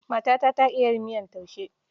Matata ta iya miyar taushe.